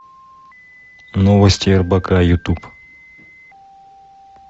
новости рбк ютуб